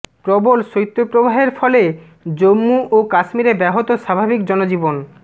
প্রবল শৈত্যপ্রবাহের ফলে জম্মু ও কাশ্মীরে ব্যাহত স্বাভাবিক জনজীবন